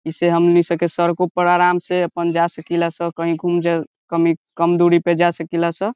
इसे हमनी स के सरक के ऊपर आराम से आपन जा सकी ला स कही घूम जाग कमी कम दुरी पे जा सकी ला स।